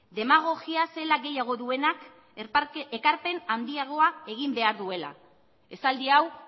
demagogia zelan gehiago duenak ekarpen handiagoa egin behar duela esaldi hau